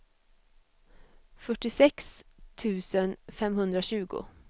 fyrtiosex tusen femhundratjugo